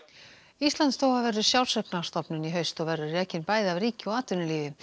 Íslandsstofa verður sjálfseignarstofnun í haust og verður rekin bæði af ríki og atvinnulífi